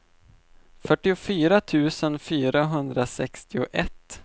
fyrtiofyra tusen fyrahundrasextioett